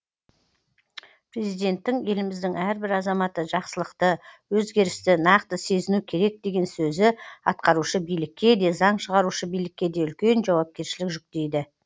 президенттің еліміздің әрбір азаматы жақсылықты өзгерісті нақты сезіну керек деген сөзі атқарушы билікке де заң шығарушы билікке де үлкен жауапкершілік жүктейді